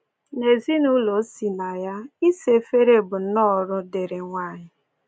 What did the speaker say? N’ezinụụlọ o si na ya, ịsa efere bụ nnọọ ọrụ dịịrị nwanyị.